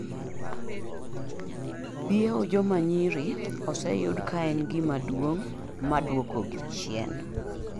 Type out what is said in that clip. biewo joma nyiri oseyudi kaen gima duong maduoko gi chien